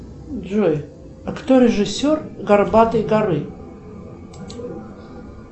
джой а кто режиссер горбатой горы